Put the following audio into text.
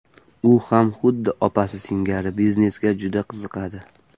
U ham xuddi opasi singari biznesga juda qiziqadi.